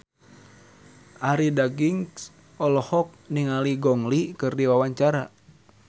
Arie Daginks olohok ningali Gong Li keur diwawancara